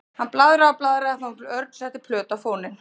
Hann blaðraði og blaðraði þangað til Örn setti plötu á fóninn.